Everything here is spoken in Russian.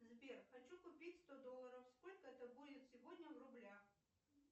сбер хочу купить сто долларов сколько это будет сегодня в рублях